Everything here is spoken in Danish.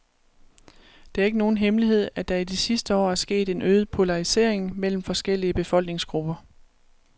Det er ikke nogen hemmelighed, at der i de sidste år er sket en øget polarisering mellem forskellige befolkningsgrupper.